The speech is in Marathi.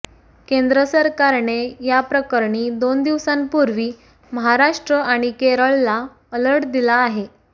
केंद्र सरकारने या प्रकरणी दोन दिवसांपूर्वी महाराष्ट्र आणि केरळला अलर्ट दिला आहे